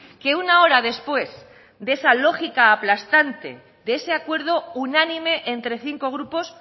que una hora después de esa lógica aplastante de ese acuerdo unánime entre cinco grupos